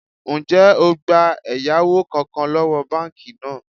Ńjẹ́ ó gbà ẹ̀yáwó kánkán lọ́wọ́ báànkì náà?